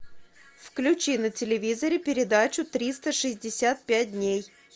включи на телевизоре передачу триста шестьдесят пять дней